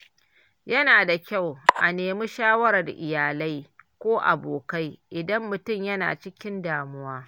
Yana da kyau a nemi shawarar iyalai ko abokai, idan mutum yana cikin damuwa.